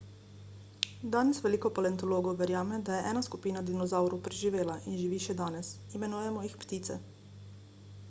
danes veliko paleontologov verjame da je ena skupina dinozavrov preživela in živi še danes imenujemo jih ptice